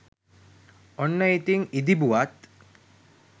ඔන්න ඉතිං ඉදිබුවත්